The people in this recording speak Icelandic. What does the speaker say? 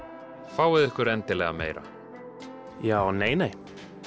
fáið ykkur endilega meira já nei nei